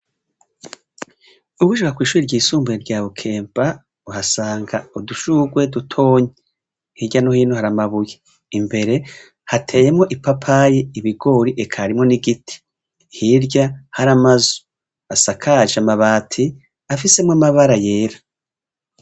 Ugishika kwishure ryisumbuye rya rukemba uhasanga udushurwe dutoya hirya nohino hari amabuye imbere hateyemwo ipapayi ibigori eka harimwo nigiti hirya hari amazu asakaje amabati afisemwo amabara yera